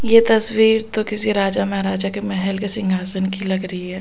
यह तस्वीर तो किसी राजा महाराजा के महल के सिंहासन की लग रही है बहुत --